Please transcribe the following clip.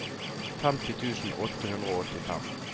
femti tusen åtte hundre og åttifem